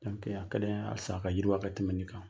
a kadi an ɲe halisa a ka yiriwa ka tɛmɛ in kan.